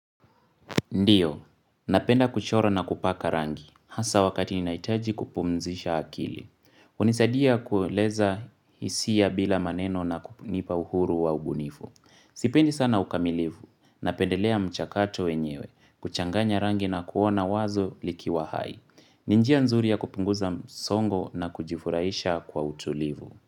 Ndiyo, napenda kuchora na kupaka rangi, hasa wakati ninaitaji kupumzisha akili. Unisadia kueleza hisia bila maneno na kunipa uhuru wa ubunifu. Sipendi sana ukamilivu, napendelea mchakato wenyewe, kuchanganya rangi na kuona wazo likiwa hai. Ni njia nzuri ya kupunguza msongo na kujifuraisha kwa utulivu.